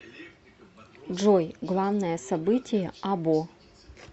джой главное событие або